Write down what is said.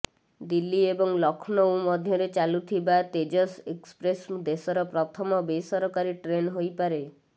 ଦିଲ୍ଲୀ ଏବଂ ଲକ୍ଷ୍ନୌ ମଧ୍ୟରେ ଚାଲୁଥିବା ତେଜସ୍ ଏକ୍ସପ୍ରେସ୍ ଦେଶର ପ୍ରଥମ ବେସରକାରୀ ଟ୍ରେନ୍ ହୋଇପାରେ